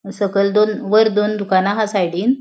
सकयल दोन वैर दोन दुकाना हा सायडींन --